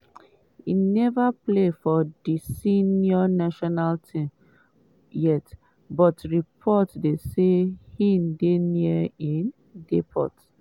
e neva play for di senior national team yet but report dey say im dey near im debut.